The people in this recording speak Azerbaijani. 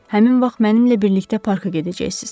Həmin vaxt mənimlə birlikdə parka gedəcəksiz.